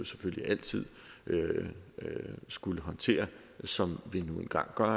selvfølgelig altid skulle håndtere som vi nu engang gør og